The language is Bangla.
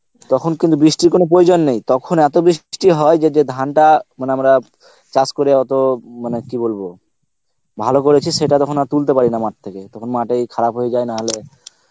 তখন কিন্তু বৃষ্টির কোনো প্রয়োজন নেই তখন এত বৃষ্টি হয় যে যে ধানটা মানে আমরা চাষ করে অত মানে কি বলবো ভালো করেছিস সেটা তখন আর তুলতে পারিনা মাঠ থেকে তখন মাঠেই খারাপ হয়ে যায় না হলে